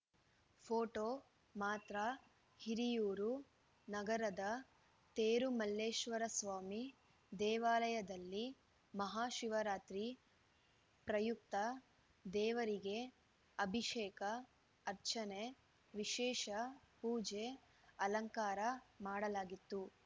photo ಮಾತ್ರ ಹಿರಿಯೂರು ನಗರದ ತೇರುಮಲ್ಲೇಶ್ವರಸ್ವಾಮಿ ದೇವಾಲಯದಲ್ಲಿ ಮಹಾಶಿವರಾತ್ರಿ ಪ್ರಯುಕ್ತ ದೇವರಿಗೆ ಅಭಿಷೇಕ ಅರ್ಚನೆ ವಿಶೇಷ ಪೂಜೆ ಅಲಂಕಾರ ಮಾಡಲಾಗಿತ್ತು